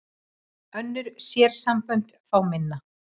Önnur sérsambönd fá minna